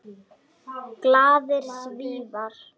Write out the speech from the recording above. Glaðir Svíar.